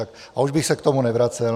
A už bych se k tomu nevracel.